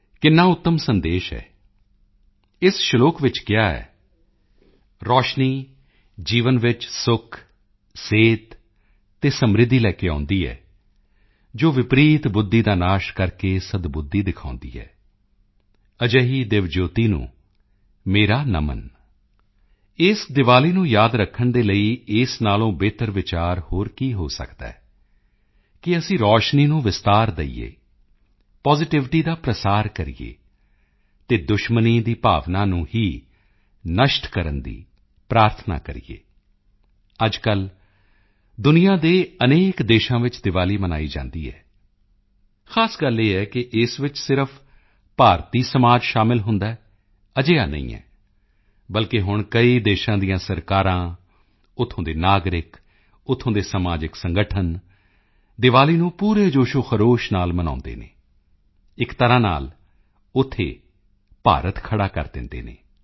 ਕਿੰਨਾ ਉੱਤਮ ਸੰਦੇਸ਼ ਹੈ ਇਸ ਸਲੋਕ ਵਿੱਚ ਕਿਹਾ ਹੈ ਪ੍ਰਕਾਸ਼ ਜੀਵਨ ਵਿੱਚ ਸੁੱਖ ਸਿਹਤ ਅਤੇ ਸਮ੍ਰਿੱਧੀ ਲੈ ਕੇ ਆਉਂਦਾ ਹੈ ਜੋ ਵਿਪਰੀਤ ਬੁੱਧੀ ਦਾ ਨਾਸ਼ ਕਰਕੇ ਸਦਬੁੱਧੀ ਦਿਖਾਉਂਦਾ ਹੈ ਅਜਿਹੀ ਦਿੱਵਯਜਯੋਤੀ ਨੂੰ ਮੇਰਾ ਨਮਨ ਇਸ ਦੀਵਾਲੀ ਨੂੰ ਯਾਦ ਰੱਖਣ ਦੇ ਲਈ ਇਸ ਨਾਲੋਂ ਬਿਹਤਰ ਵਿਚਾਰ ਹੋਰ ਕੀ ਹੋ ਸਕਦਾ ਹੈ ਕਿ ਅਸੀਂ ਪ੍ਰਕਾਸ਼ ਨੂੰ ਵਿਸਤਾਰ ਦੇਈਏ ਪਾਜ਼ਿਟਿਵਿਟੀ ਦਾ ਪ੍ਰਸਾਰ ਕਰੀਏ ਅਤੇ ਦੁਸ਼ਮਣੀ ਦੀ ਭਾਵਨਾ ਨੂੰ ਹੀ ਨਸ਼ਟ ਕਰਨ ਦੀ ਪ੍ਰਾਰਥਨਾ ਕਰੀਏ ਅੱਜਕੱਲ੍ਹ ਦੁਨੀਆ ਦੇ ਅਨੇਕ ਦੇਸ਼ਾਂ ਵਿੱਚ ਦੀਵਾਲੀ ਮਨਾਈ ਜਾਂਦੀ ਹੈ ਖ਼ਾਸ ਗੱਲ ਇਹ ਹੈ ਕਿ ਇਸ ਵਿੱਚ ਸਿਰਫ਼ ਭਾਰਤੀ ਸਮਾਜ ਸ਼ਾਮਿਲ ਹੁੰਦਾ ਹੈ ਅਜਿਹਾ ਨਹੀਂ ਹੈ ਬਲਕਿ ਹੁਣ ਕਈ ਦੇਸ਼ਾਂ ਦੀਆਂ ਸਰਕਾਰਾਂ ਉੱਥੋਂ ਦੇ ਨਾਗਰਿਕ ਉੱਥੋਂ ਦੇ ਸਮਾਜਿਕ ਸੰਗਠਨ ਦੀਵਾਲੀ ਨੂੰ ਪੂਰੇ ਜੋਸ਼ੋਖਰੋਸ਼ ਨਾਲ ਮਨਾਉਂਦੇ ਹਨ ਇੱਕ ਤਰ੍ਹਾਂ ਨਾਲ ਉੱਥੇ ਭਾਰਤ ਖੜ੍ਹਾ ਕਰ ਦਿੰਦੇ ਹਨ